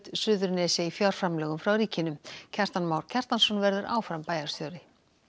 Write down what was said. Suðurnesja í fjárframlögum frá ríkinu Kjartan Már Kjartansson verður áfram bæjarstjóri